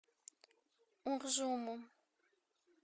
уржуму